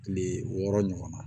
Kile wɔɔrɔ ɲɔgɔn na